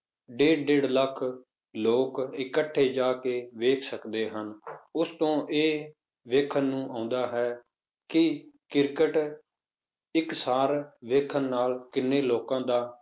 ਡੇਢ ਡੇਢ ਲੱਖ ਲੋਕ ਇਕੱਠੇ ਜਾ ਕੇ ਵੇਖ ਸਕਦੇ ਹਨ, ਉਸ ਤੋਂ ਇਹ ਵੇਖਣ ਨੂੰ ਆਉਂਦਾ ਹੈ ਕਿ ਕ੍ਰਿਕਟ ਇੱਕ ਸਾਰ ਵੇਖਣ ਨਾਲ ਕਿੰਨੇ ਲੋੋਕਾਂ ਦਾ